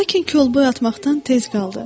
Lakin kol boy atmaqdan tez qaldı.